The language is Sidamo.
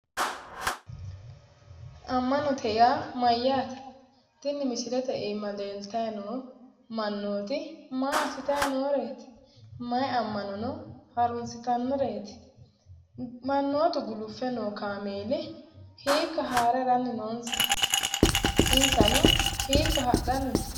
Ammanote yaa mayyaate? Tini misilite iima leeltayi noo mannooti maa assitayi nooreeti? Mayi ammanono harunsitannoreeti? Mannooti guluffe noo kaameeli hiikka haare haranni noonsa? Insano hiikka hadhanni no?